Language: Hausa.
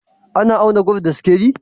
Ana auna gwal da sikeli?